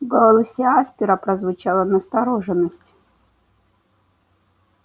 в голосе аспера прозвучала настороженность